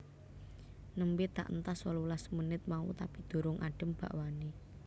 Nembe tak entas wolulas menit mau tapi durung adem bakwane